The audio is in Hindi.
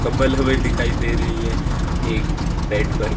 कम्बल में दिखाई दे रही है एक बेड पर--